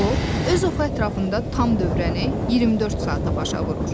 O öz oxu ətrafında tam dövrəni 24 saata başa vurur.